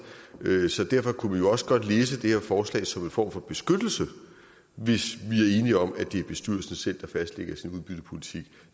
derfor kunne vi jo også godt læse det her forslag som en form for beskyttelse hvis vi enige om at det er bestyrelsen selv der fastlægger sin udbyttepolitik